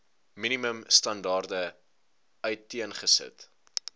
minimum standaarde uiteengesit